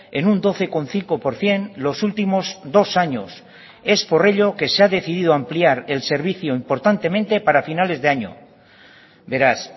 en un doce coma cinco por ciento los últimos dos años es por ello que se ha decidido ampliar el servicio importantemente para finales de año beraz